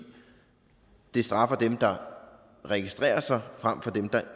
det straffer dem der registrerer sig frem for dem der